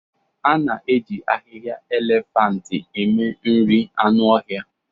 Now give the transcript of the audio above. A na-eji ahihia elefianti eme nri anụ ọhịa,